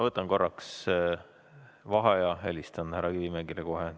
Võtan korraks vaheaja ja helistan härra Kivimägile.